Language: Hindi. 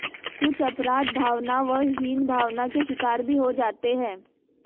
कुछ अपराध भावना व हीनभावना के शिकार भी हो जाते हैं